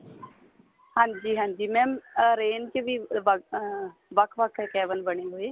ਹਾਂਜੀ ਹਾਂਜੀ mam orange ਕੇ ਵੀ ਵੱਖ ਅਹ ਵੱਖ ਵੱਖ cabin ਬਣੇ ਹੋਏ